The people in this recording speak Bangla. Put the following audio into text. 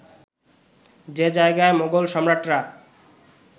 যে জায়গায় মোগল সম্রাটরা